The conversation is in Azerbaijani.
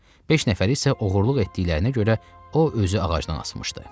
Beş nəfəri isə oğurluq etdiklərinə görə o özü ağacdan asmışdı.